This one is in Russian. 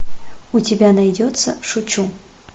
у тебя найдется шучу